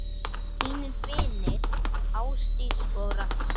Þínir vinir, Ásdís og Ragnar.